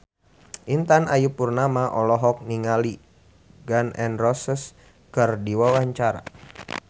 Intan Ayu Purnama olohok ningali Gun N Roses keur diwawancara